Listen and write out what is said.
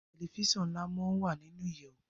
Tẹlifíṣàn nla món wá nínú ìyèwù